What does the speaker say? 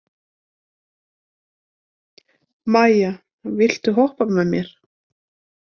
Maia, viltu hoppa með mér?